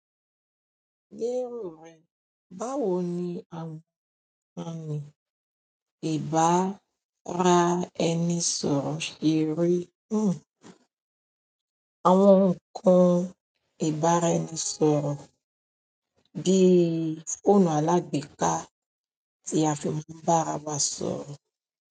Ní èrò rẹ, báwo ni àwọn ọ̀kan ní ìbára ẹni sọ̀rọ̀ ṣe rí? Hmmm. Àwọn ǹkan ìbára ẹni sọ̀rọ̀ bíi fóònù alágbèéká tí a fi maa n bá ara wa sọ̀rọ̀.